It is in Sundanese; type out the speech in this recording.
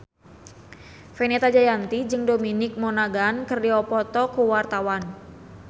Fenita Jayanti jeung Dominic Monaghan keur dipoto ku wartawan